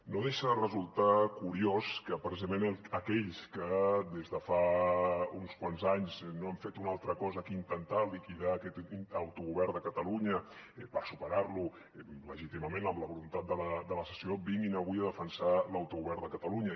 no deixa de resultar curiós que precisament aquells que des de fa uns quants anys no han fet una altra cosa que intentar liquidar aquest autogovern de catalunya per superar lo legítimament amb la voluntat de la secessió vinguin avui a defensar l’autogovern de catalunya